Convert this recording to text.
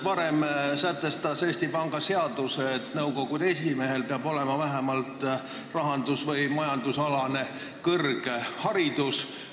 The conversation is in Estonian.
Varem sätestas Eesti Panga seadus, et nõukogu esimehel peab olema vähemalt rahandus- või majandusalane kõrgharidus.